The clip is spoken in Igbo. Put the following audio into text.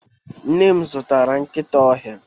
Nne m zụtara nkịta ọhịa